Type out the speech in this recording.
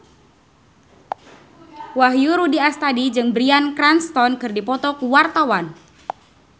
Wahyu Rudi Astadi jeung Bryan Cranston keur dipoto ku wartawan